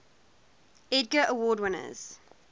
edgar award winners